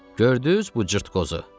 Gördüz bu cırtdkozu?